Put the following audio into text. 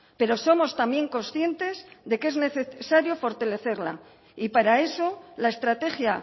pero somos también conscientes de que es necesario fortalecerla y para eso la estrategia